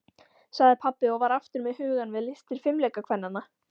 sagði pabbi og var aftur með hugann við listir fimleikakvennanna.